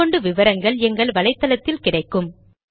மேற்கொண்டு விவரங்கள் எங்கள் வலைத்தளத்தில் கிடைக்கும்